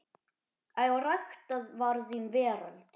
Að rækta var þín veröld.